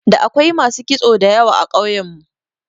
Da akwai masu kitso da yawa a ƙauyen mu.